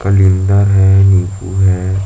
कलिंदर हे नीबू हे।